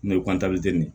N'o ye ye